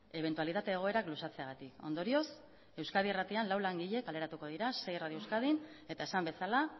ebentualitate egoerak luzatzeagatik ondorioz euskadi irratian lau langile kaleratuko dira sei radio euskadin eta esan bezala